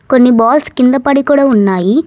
కొన్ని బాల్స్ కింద పడి కూడా ఉన్నాయి.